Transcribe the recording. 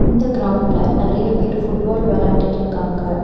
இந்த கிரவுண்ட்ல நறைய பேர் ஃபுட்பால் வெளாண்டுட்டுருக்காங்க.